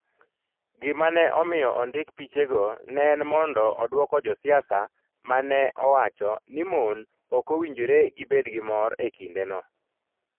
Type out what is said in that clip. Gima ne omiyo ondik pichego ne en mondo odwoko ja siasa ma ne owacho ni mon ok owinjore gibed gi mor e kindeno.